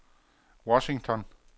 Washington